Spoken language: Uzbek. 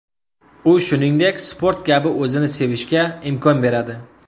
U shuningdek sport kabi o‘zini sevishga imkon beradi.